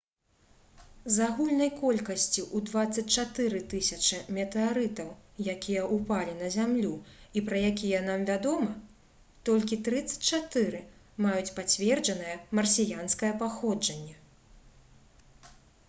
з агульнай колькасці ў 24 000 метэарытаў якія ўпалі на зямлю і пра якія нам вядома толькі 34 маюць пацверджанае марсіянскае паходжанне